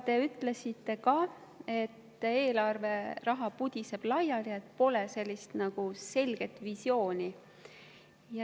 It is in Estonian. Te ütlesite ka, et eelarveraha pudiseb laiali, et pole nagu selget visiooni.